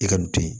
I ka nin to yen